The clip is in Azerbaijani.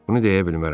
Bunu deyə bilmərəm.